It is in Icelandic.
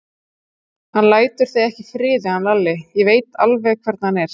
Hann lætur þig ekki í friði hann Lalli, ég veit alveg hvernig hann er.